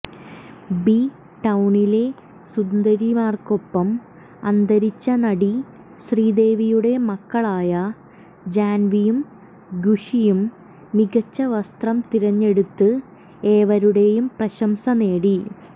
B ടൌണിലെ സുന്ദരിമാർക്കൊപ്പം അന്തരിച്ച നടി ശ്രീദേവിയുടെ മക്കളായ ജാൻവിയും ഖുഷിയും മികച്ച വസ്ത്രം തിരഞ്ഞെടുത്ത് ഏവരുടെയും പ്രശംസ നേടി